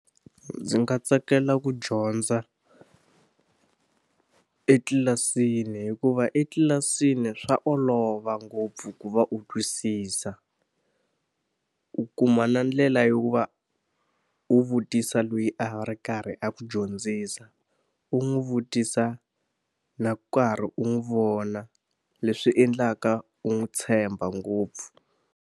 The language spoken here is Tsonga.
Ndzi nga tsakela ku dyondza etlilasini hikuva etlilasini swa olova ngopfu ku va u twisisa. U kuma na ndlela yo ku va u vutisa loyi a ri karhi a ku dyondzisa, u n'wi vutisa na karhi u n'wi vona leswi endlaka u n'wi tshemba ngopfu.